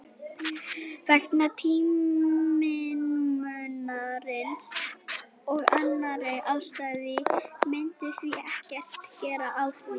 Vegna tímamismunarins og annarra ástæðna myndum við ekkert græða á því.